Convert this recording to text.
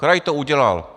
Kraj to udělal.